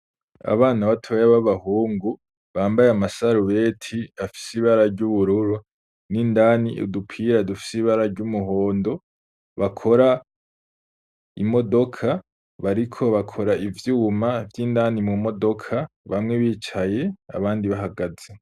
Abana batoya babahungu bambay'amasarubeti afis'ibara ry'ubururu n'indani udupira dufise ibara ry'umuhondo, bakora imodoka bariko bakora ivyuma vy'indani mumodoka bamwe bicaye abandi bahagaze.